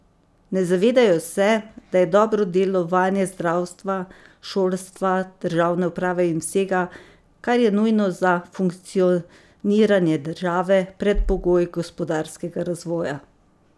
Ne zavedajo se, da je dobro delovanje zdravstva, šolstva, državne uprave in vsega, kar je nujno za funkcioniranje države, predpogoj gospodarskega razvoja.